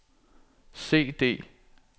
CD